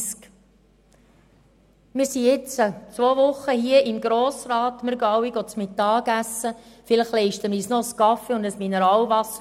Wir sind jetzt seit zwei Wochen hier im Grossen Rat, wir gehen alle mittagessen, vielleicht leisten wir uns noch einen Kaffee oder ein Mineralwasser.